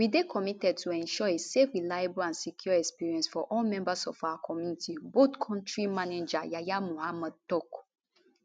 we dey committed to ensure a safe reliable and secure experience for all members of our community bolt kontri manager yahaya mohammed tok